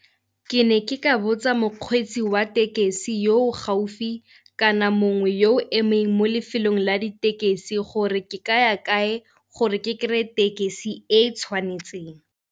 Ke ne ke ka botsa mokgweetsi wa tekesi yo o gaufi kana mongwe yo emeng mo lefelong la ditekesi gore ke kaya kae gore ke kry-e tekesi e tshwanetseng.